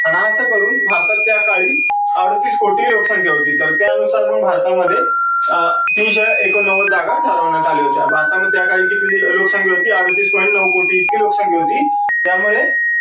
आणि असं करून भारतात त्या काळी अडोतीस कोटी लोकसंख्या होती. तर त्या नुसार मग भारता मध्ये तीनशे एकोणनव्वद जागा ठरवण्यात आल्या होत्या. भारता माधे त्या काळी किती देशाची लोकसंख्या होती? अडोतीस point नऊ कोटी इतकी लोकसंख्या होती. त्यामुळे